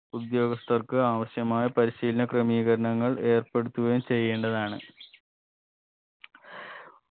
ഉദ്യോഗസ്ഥർക്ക് ആവശ്യമായ പരിശീലന ക്രമീകരണങ്ങൾ ഏർപ്പെടുത്തുകയും ചെയ്യേണ്ടതാണ്